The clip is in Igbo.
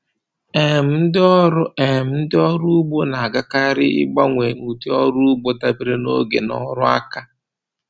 um Ndị ọrụ um Ndị ọrụ ugbo na-agakarị ịgbanwe ụdị ọrụ ugbo dabere na oge na ọrụ aka.